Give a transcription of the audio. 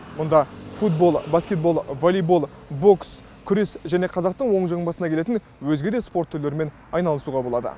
мұнда футбол баскетбол волейбол бокс күрес және қазақтың оң жамбасына келетін өзге де спорт түрлерімен айналысуға болады